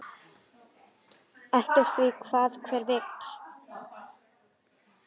Eftir því hvað hver vill.